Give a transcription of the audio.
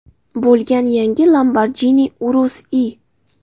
bo‘lgan yangi Lamborghini Urus I.